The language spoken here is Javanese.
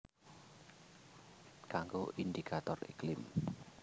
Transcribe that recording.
Kanggo indikator iklim